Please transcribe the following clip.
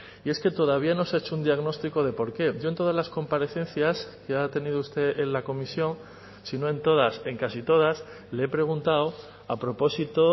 y es que todavía no se ha hecho un diagnóstico de por qué yo en todas las comparecencias que ha tenido usted en la comisión sino en todas en casi todas le he preguntado a propósito